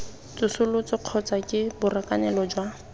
tsosoloso kgotsa ke borakanelo jwa